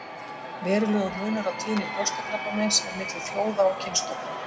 Verulegur munur á tíðni brjóstakrabbameins er milli þjóða og kynstofna.